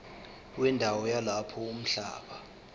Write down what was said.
wendawo yalapho umhlaba